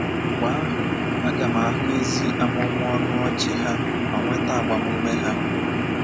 Mgbe ahụ aga m ahụ ezi amụmụ ọnụ ọchị ha ma nweta agbamume ha.